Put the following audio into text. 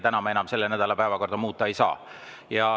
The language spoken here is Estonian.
Täna me enam selle nädala päevakorda muuta ei saa.